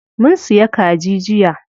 Mun siya kaji jiya.